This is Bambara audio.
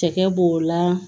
Cɛkɛ b'o la